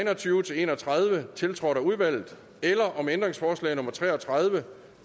og tyve til en og tredive tiltrådt af udvalget eller om ændringsforslag nummer tre og tredive